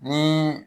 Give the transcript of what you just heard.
Ni